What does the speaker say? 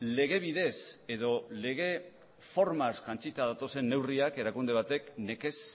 lege bidez edo lege formaz jantzita datozen neurriak erakunde batek nekez